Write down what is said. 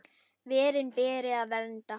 Verin beri að vernda.